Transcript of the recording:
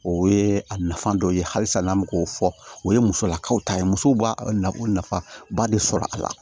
O ye a nafa dɔ ye halisa n'an bɛ k'o fɔ o ye musolakaw ta ye musow b'a nafaba de sɔrɔ a la